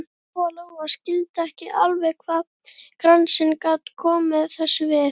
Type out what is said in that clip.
Lóa Lóa skildi ekki alveg hvað kransinn gat komið þessu við.